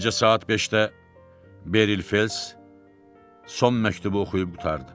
Gecə saat 5-də Beril Fells son məktubu oxuyub qurtardı.